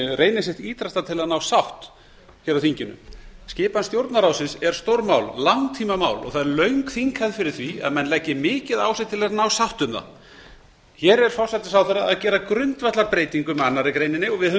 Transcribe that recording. reyni sitt ýtrasta til að ná sátt hér á þinginu skipan stjórnarráðsins er stórmál langtímamál og það er löng þinghefð fyrir því að menn leggi mikið á sig til að ná sátt um það hér er forsætisráðherra að gera grundvallarbreytingu með annarri greininni og við höfum